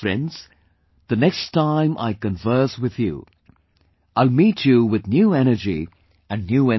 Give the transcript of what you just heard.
Friends, the next time I converse with you, I will meet you with new energy and new information